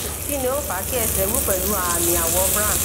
kí ni ó ń fa kí ẹsẹ wú pẹlú aami àwọ brown